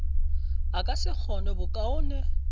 a ka se kgone bokaone